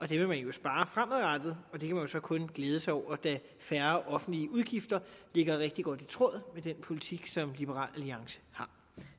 vil man jo spare fremadrettet og det kan man jo så kun glæde sig over da færre offentlige udgifter ligger rigtig godt i tråd med den politik som liberal alliance har